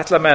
ætla menn